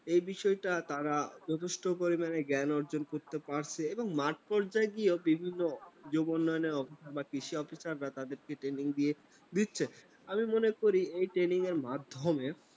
এই বিষয়টা তাঁরা যথেষ্ট পরিমাণে জ্ঞান অর্জন করতে পারছে এবং মাঝ পর্যায়ে গিয়ে বিভিন্ন যুব উন্নয়ন বা কৃষি অফিসার বা তাদেরকে training দিয়ে, দিচ্ছে। আমি মনে করি এই training য়ের মাধ্যমে